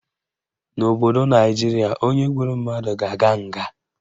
N'obodo Naijiria, onye gburu mmadụ ga-aga nga